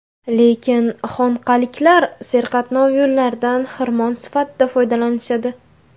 Lekin xonqaliklar serqatnov yo‘llardan xirmon sifatida foydalanishadi.